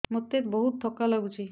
ମୋତେ ବହୁତ୍ ଥକା ଲାଗୁଛି